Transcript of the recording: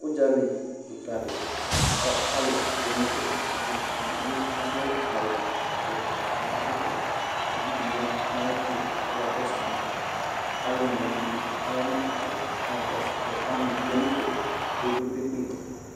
Ʋdzali kɩkadɩ ka alʋ tsue n'ɛfɛ k'abʋ ;edigbo adʋ awʋvɛ , k'akɔɛkɔtɔ, k'uvidi ya n'ayɛtʋ k'ɔka kɔsʋ ma , k'alʋ onewanɩ bɩ aya nʋ ɩtsɛdɩ k'aka kɔsʋ; kʋ ɔnʋ tsue n'ǝfɛ kpekpekpe